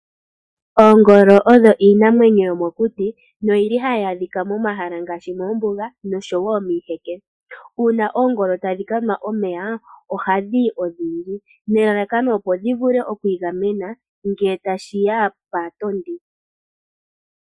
Oongolo odho iinamwenyo yomokuti, no yili hayi adhika momahala ngaashi, moombuga nosho woo miiheke. Uuna oongolo tadhi ka nwa omeya, oha dhiyi odhindji, nelalakano opo dhi vule okwiigamena ngele tashi ya paatondi.